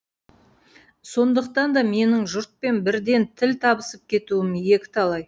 сондықтан да менің жұртпен бірден тіл табысып кетуім екіталай